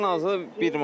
Ən azı bir manat.